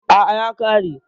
Aa, ya kare